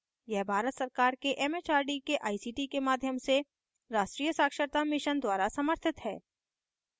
यह भारत सरकार के it it आर डी के आई सी टी के माध्यम से राष्ट्रीय साक्षरता mission द्वारा समर्थित है